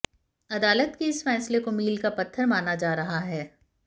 अदालत के इस फैसले को मील का पत्थर माना जा रहा है